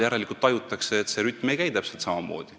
Järelikult seal tajutakse, et see rütm ei käi täpselt samamoodi.